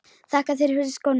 Þakka þér fyrir skóna.